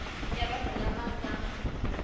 ya vanhu lava va nga